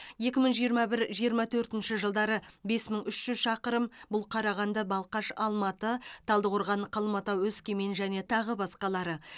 екі мың жиырма бір жиырма төртінші жылдары бес мың үш жүз шақырым бұл қарағанды балқаш алматы талдықорған қалбатау өскемен және тағы басқалары